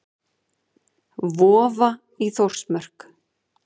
Vofa í Þórsmörk.